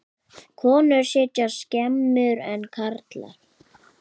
Konur sitja skemur en karlar.